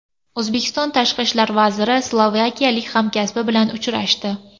O‘zbekiston Tashqi ishlar vaziri slovakiyalik hamkasbi bilan uchrashdi.